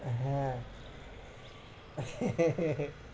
হ্যাঁ